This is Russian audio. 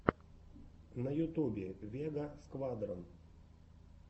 на ютубе вега сквадрон